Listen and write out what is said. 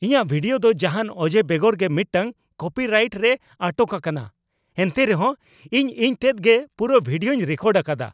ᱤᱧᱟᱹᱜ ᱵᱷᱤᱰᱤᱣᱳ ᱫᱚ ᱡᱟᱦᱟᱱ ᱚᱡᱮ ᱵᱮᱜᱚᱨ ᱜᱮ ᱢᱤᱫᱴᱟᱝ ᱠᱚᱯᱤᱨᱟᱭᱤᱴ ᱨᱮᱭ ᱟᱴᱚᱠ ᱟᱠᱟᱱᱟ ᱾ ᱮᱱᱛᱮ ᱨᱮᱦᱚᱸ ᱤᱧ ᱤᱧᱛᱮᱫ ᱜᱮ ᱯᱩᱨᱟᱹ ᱵᱷᱤᱰᱤᱭᱳᱧ ᱨᱮᱠᱚᱨᱰ ᱟᱠᱟᱫᱟ ᱾